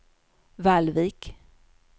Vallvik